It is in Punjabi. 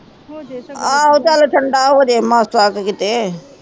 ਆਹੋ ਚਲ ਠੰਡਾ ਹੋਜੇ ਮਾਸਾ ਕ ਕੀਤੇ